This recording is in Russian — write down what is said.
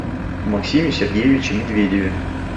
максиме сергеевиче медведеве